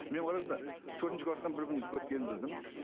мен ойладым да төртінші кластан бір күн өткенін білдім